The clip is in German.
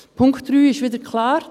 Der Punkt 3 ist wieder klar: